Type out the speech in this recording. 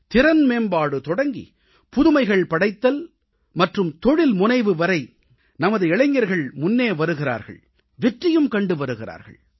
திறன் மேம்பாடு தொடங்கி புதுமைகள் படைத்தல் மற்றும் தொழில்முனைவு வரை நமது இளைஞர்கள் முன்னே வருகிறார்கள் வெற்றியும் கண்டு வருகிறார்கள்